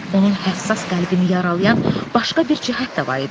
Onun həssas qəlbini yaralayan başqa bir cəhət də var idi.